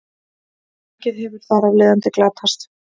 mjög mikið hefur þar af leiðandi glatast